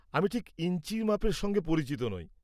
আমি ঠিক ইঞ্চির মাপের সঙ্গে পরিচিত নই।